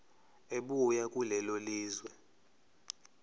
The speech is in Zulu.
ebuya kulelo lizwe